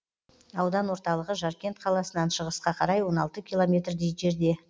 аудан орталығы жаркент қаласынан шығысқа қарай он алты километрдей жерде